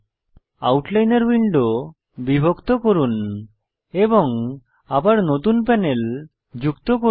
আউটলাইনর window বিভক্ত করুন এবং আবার নতুন প্যানেল যুক্ত করুন